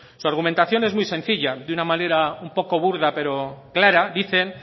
su argumentación es muy sencilla de una manera un poco burda pero clara dicen